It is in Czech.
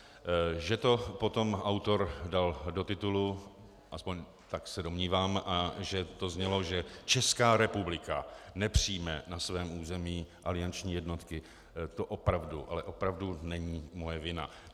Že to potom autor dal do titulu, aspoň tak se domnívám, a že to znělo, že Česká republika nepřijme na svém území alianční jednotky, to opravdu, ale opravdu není moje vina.